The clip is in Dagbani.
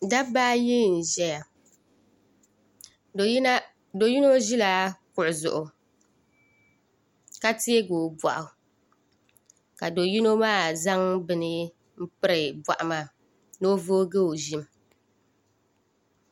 Dabba ayi n-ʒaya do’ yino ʒila kuɣu zuɣu ka teegi o bɔɣu ka do’ yino maa zaŋ bini m-piri bɔɣu maa ni o voogi o ʒim